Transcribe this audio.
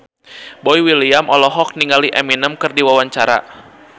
Boy William olohok ningali Eminem keur diwawancara